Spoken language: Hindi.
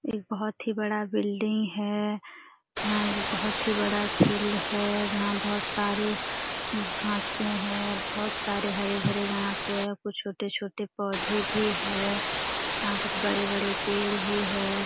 एक बहुत ही बड़ा बिल्डिंग है यहां एक बहुत ही बड़ा फील्ड है जहां बहुत सारे घासे हैं बहुत सारे हरे भरे घास है और कुछ छोटे-छोटे पौधे भी है यहां कुछ बड़े-बड़े पेड़ भी है।